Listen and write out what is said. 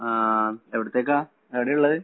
ആഹ് എവടത്തേക്കാ, എവടെയാ ഇള്ളത്?